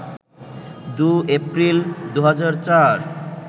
২ এপ্রিল, ২০০৪